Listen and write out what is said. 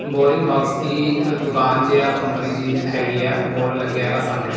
Boring box ਦੀ ਦੁਕਾਨ ਜੇ ਆ ਕੰਪਨੀ ਜੀ ਹੈਗੀ ਆ ਬੋਰਡ ਲੱਗਿਆ ਹੈਗਾ ਸਾਹਮਣੇ।